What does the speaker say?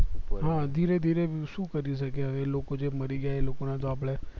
હા ધીરે ધીરે શું કરી શકે હવે એ લોકો જે મરી ગયા એ લોકો ને આપડે